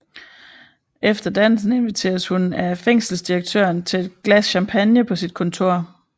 Efter dansen inviteres hun af fængselsdirektøren til et glas champagne på sit kontor